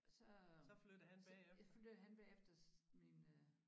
Så øh så flyttede han bagefter mine øh